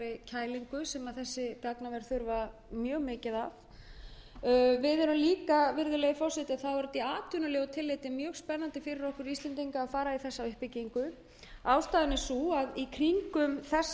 því þurfa þessi gagnaver að halda í atvinnulegu tilliti er það mjög spennandi fyrir okkur íslendinga að fara í þessa uppbyggingu það hefur